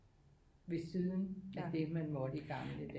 Ved siden af det man måtte i gamle dage